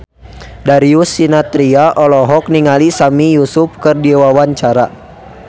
Darius Sinathrya olohok ningali Sami Yusuf keur diwawancara